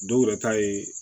Dɔw yɛrɛ ta ye